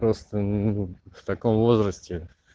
просто в таком возрасте